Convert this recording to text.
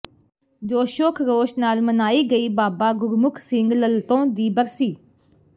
ਜੋਸ਼ੋ ਖਰੋਸ਼ ਨਾਲ ਮਨਾਈ ਗਈ ਬਾਬਾ ਗੁਰਮੁਖ ਸਿੰਘ ਲਲਤੋਂ ਦੀ ਬਰਸੀ